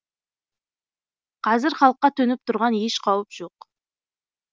қазір халыққа төніп тұрған еш қауіп жоқ